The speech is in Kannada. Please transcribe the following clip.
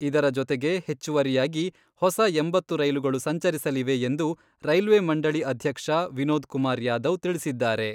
ಇದರ ಜೊತೆಗೆ ಹೆಚ್ಚುವರಿಯಾಗಿ ಹೊಸ ಎಂಬತ್ತು ರೈಲುಗಳು ಸಂಚರಿಸಲಿವೆ ಎಂದು ರೈಲ್ವೆ ಮಂಡಳಿ ಅಧ್ಯಕ್ಷ ವಿನೋದ್ ಕುಮಾರ್ ಯಾದವ್ ತಿಳಿಸಿದ್ದಾರೆ.